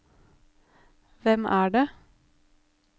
hvem er det